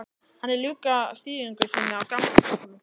Hann er að ljúka þýðingu sinni á gamla testamentinu.